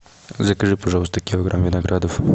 закажи пожалуйста килограмм виноградов